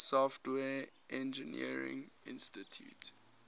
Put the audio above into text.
software engineering institute